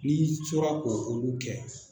N'i tora ko olu kɛ